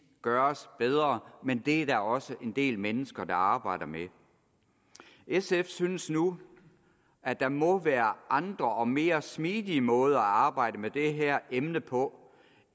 gøres bedre men det er der også en del mennesker der arbejder med sf synes nu at der må være andre og mere smidige måder at arbejde med det her emne på